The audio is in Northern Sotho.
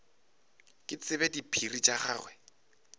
ke tsebe diphiri tša gagwe